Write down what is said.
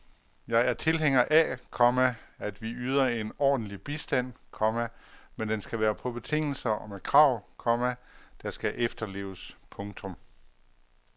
Jeg er tilhænger af, komma at vi yder en ordentlig bistand, komma men den skal være på betingelser og med krav, komma der skal efterleves. punktum